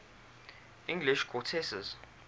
english countesses